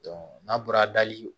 n'a bɔra dali